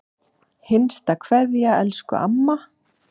HINSTA KVEÐJA Elsku amma.